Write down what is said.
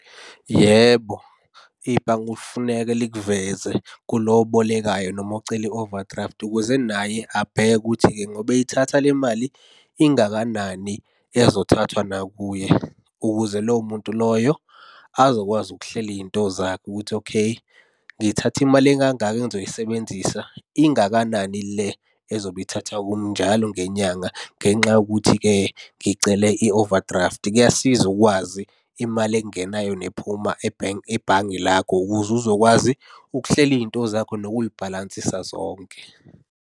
Yebo, ibhange kufuneka likuveze kulo obolekayo noma ocela i-overdraft ukuze naye abheke ukuthi-ke ngoba eyithatha le mali ingakanani ezothathwa nakuye, ukuze lowo muntu loyo azokwazi ukuhlela iy'nto zakhe ukuthi okay, ngithathe imali ekangaka engizoyisebenzisa. Ingakanani le ezobe ithathwa kumi njalo ngenyanga ngenxa yokuthi-ke ngicele i-overdraft. Kuyasiza ukwazi imali engenayo nephuma ebhenki ebhange lakho ukuze uzokwazi ukuhlela iy'nto zakho, nokuy'bhalansisa zonke.